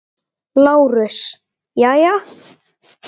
LÁRUS: Jæja?